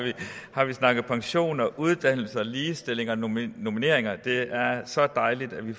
har vi snakket pension og uddannelse og ligestilling og normeringer normeringer og det er så dejligt at vi